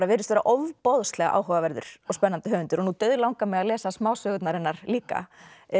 virðist vera ofboðslega áhugaverður og spennandi höfundur og nú dauðlangar mig að lesa smásögurnar hennar líka